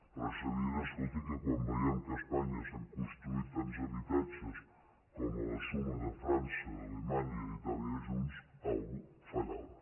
però és evident escolti que quan veiem que a espanya s’han construït tants habitatges com a la suma de frança d’alemanya i itàlia junts alguna cosa fa·llava